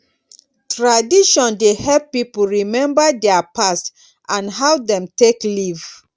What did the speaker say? tradition dey help pipo remmba dia past and how dem take live